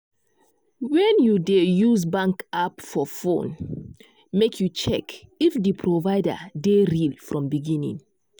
when you dey use bank app for phone make you check if di provider dey real from beginning.